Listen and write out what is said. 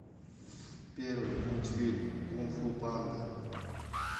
первый мультфильм кунг фу панда